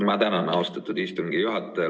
Ma tänan, austatud istungi juhataja!